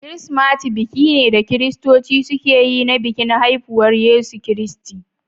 Kirsimati biki ne da kiristoci suke yi na bikin haihuwar Yesu Kiristi.